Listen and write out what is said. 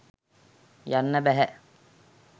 යන්න බැහැ.